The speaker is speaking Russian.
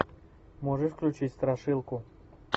можешь включить страшилку